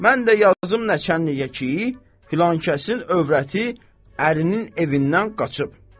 Mən də yazım nəçənliyə ki, filankəsin övrəti ərinin evindən qaçıb.